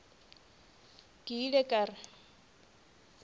ke ile ka re ke